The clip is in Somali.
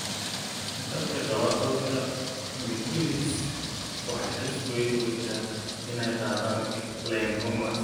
Dadka qaba cudurka Mikulicz waxay halis weyn ugu jiraan inay qaadaan lymphomas.